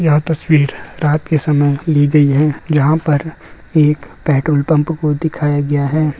यह तस्वीर रात के समय ली गई है जहां पर एक पेट्रोल पंप को दिखाया गया है।